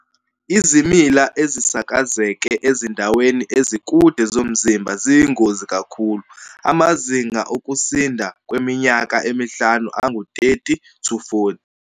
Izimila ezisakazeke ezindaweni ezikude zomzimba ziyingozi kakhulu, amazinga okusinda kweminyaka emihlanu angu-30-40.